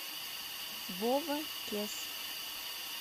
вова кесс